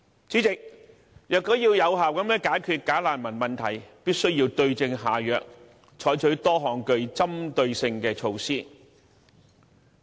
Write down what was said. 主席，要有效解決"假難民"問題，必須對症下藥，採取多項針對性措施。